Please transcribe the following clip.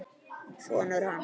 Sonur hans!